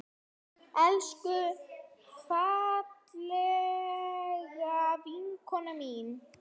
Elsku fallega vinkona mín.